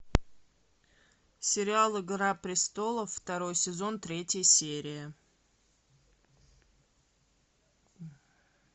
сериал игра престолов второй сезон третья серия